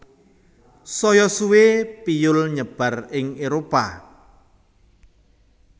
Saya suwe piyul nyebar ing Éropah